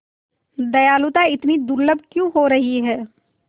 दयालुता इतनी दुर्लभ क्यों हो रही है